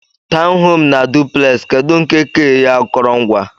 Tọwn home na duplex kedu nke ka eei akọrọngwa?